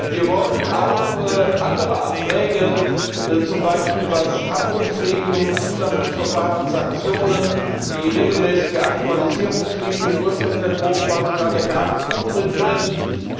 Wir wollen auch andere Anträge, zum Beispiel was Haftungsregelungen, Zulassungsverfahren, Sanktionen, die regelmäßige Aktualisierungspflicht betrifft im Ursprungsentwurf war sogar der carbon footprint drin herausstimmen.